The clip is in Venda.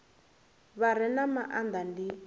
vha re na maanda ndi